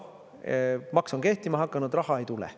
Maks on kehtima hakanud, raha ei tule.